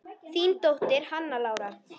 Þín dóttir, Hanna Lára.